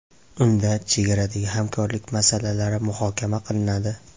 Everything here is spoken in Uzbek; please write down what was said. Unda chegaradagi hamkorlik masalalari muhokama qilinadi.